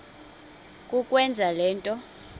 kukwenza le nto